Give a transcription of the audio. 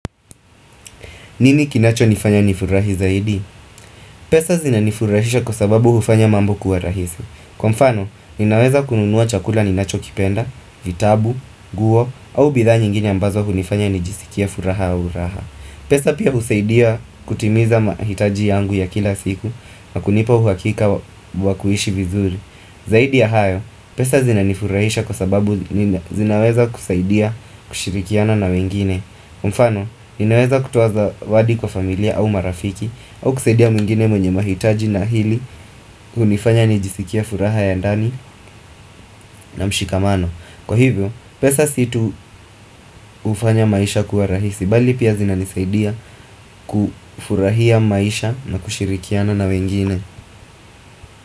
Nini kinacho nifanya nifurahi zaidi? Pesa zina nifurahisha kwa sababu hufanya mambo kuwa rahisi. Kwa mfano, ninaweza kununua chakula ninacho kipenda, vitabu, nguo, au bidha nyingine ambazo hu nifanya nijisikie furaha au raha. Pesa pia husaidia kutimiza mahitaji yangu ya kila siku, na kunipa huakika wa kuishi vizuri. Zaidi ya hayo, pesa zina nifurahisha kwa sababu zinaweza kusaidia kushirikiana na wengine mfano, ninaweza kutoa zawadi kwa familia au marafiki au kusaidia mwingine mwenye mahitaji na ili kunifanya nijisikie furaha ya ndani na mshikamano Kwa hivyo, pesa si tu ufanya maisha kuwa rahisi bali pia zina nisaidia kufurahia maisha na kushirikiana na wengine.